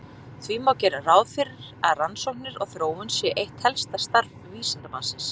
Því má gera ráð fyrir að rannsóknir og þróun sé eitt helsta starf vísindamannsins.